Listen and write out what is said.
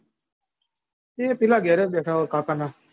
ઈ પેલાં ઘેર જ બેઠાં હોય કાકાનાં.